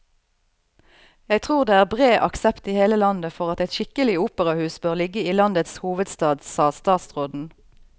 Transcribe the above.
Jeg tror det er bred aksept i hele landet for at et skikkelig operahus bør ligge i landets hovedstad, sa statsråden.